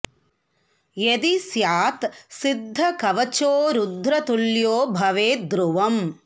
यदि स्यात् सिद्ध कवचो रुद्र तुल्यो भवेद् ध्रुवम्